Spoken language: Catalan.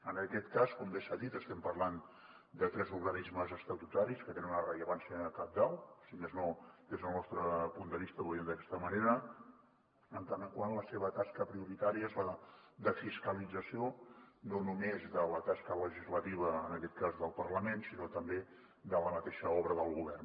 en aquest cas com bé s’ha dit estem parlant de tres organismes estatutaris que tenen una rellevància cabdal si més no des del nostre punt de vista ho veiem d’aquesta manera en tant que la seva tasca prioritària és la de fiscalització no només de la tasca legislativa en aquest cas del parlament sinó també de la mateixa obra del govern